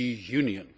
Union.